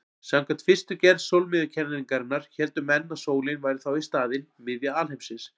Samkvæmt fyrstu gerð sólmiðjukenningarinnar héldu menn að sólin væri þá í staðinn miðja alheimsins.